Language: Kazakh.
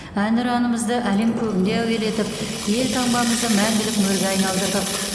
әнұранымызды әлем көгінде әуелетіп елтаңбамызды мәңгілік мөрге айналдырдық